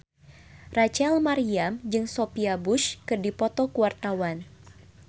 Rachel Maryam jeung Sophia Bush keur dipoto ku wartawan